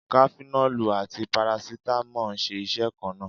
Kafinọ́lù àti Parasítámọ̀ ń ṣe iṣẹ́ kan náà.